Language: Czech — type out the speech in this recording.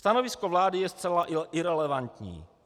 Stanovisko vlády je zcela irelevantní.